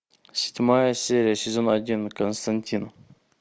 седьмая серия сезон один константин